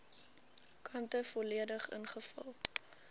kante volledig ingevul